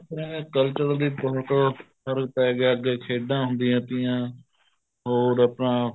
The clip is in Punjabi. ਆਪਣੇ culture ਵਿੱਚ ਵੀ ਬਹੁਤ ਫ਼ਰਕ ਪੈ ਗਿਆ ਅੱਗੇ ਖੇਡਾਂ ਹੁੰਦੀਆਂ ਥੀਆ ਹੋਰ ਆਪਣਾ